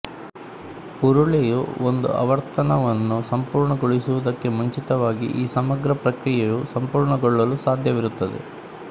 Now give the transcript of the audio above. ಉರುಳೆಯು ಒಂದು ಆವರ್ತನವನ್ನು ಸಂಪೂರ್ಣಗೊಳಿಸುವುದಕ್ಕೆ ಮುಂಚಿತವಾಗಿ ಈ ಸಮಗ್ರ ಪ್ರಕ್ರಿಯೆಯು ಸಂಪೂರ್ಣಗೊಳ್ಳಲು ಸಾಧ್ಯವಿರುತ್ತದೆ